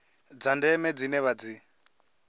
dza ndeme dzine vha dzi